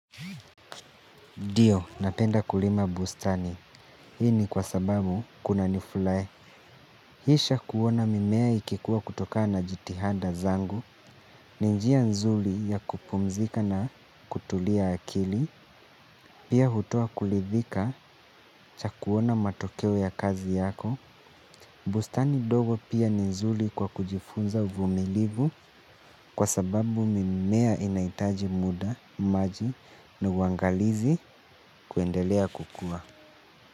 Ndio, napenda kulima bustani. Hii ni kwa sababu kuna niflae. Hii shakuona mimea ikikuwa kutoka na jitihanda zangu. Ninjia nzuli ya kupumzika na kutulia akili. Pia hutoa kulithika chakuona matokeo ya kazi yako. Bustani dogo pia nzuli kwa kujifunza uvumilivu. Kwa sababu mimea inaitaji muda, maji, na uangalizi kuendelea kukua.